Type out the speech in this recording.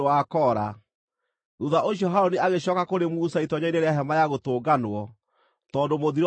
Thuutha ũcio Harũni agĩcooka kũrĩ Musa itoonyero-inĩ rĩa Hema-ya-Gũtũnganwo, tondũ mũthiro ũcio nĩwathirĩte.